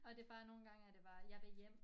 Og det bare nogen gange er det bare jeg vil hjem